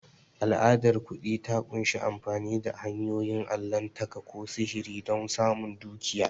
Al'adar kuɗi ta ƙunshi amfani da hanyoyin allahntaka ko sihiri don samun dukiya.